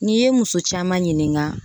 N'i ye muso caman ɲininka